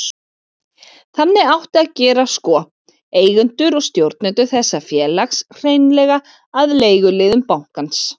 Þannig átti að gera sko, eigendur og stjórnendur þessa félags, hreinlega að leiguliðum bankans.